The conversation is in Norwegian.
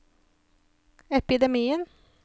epidemien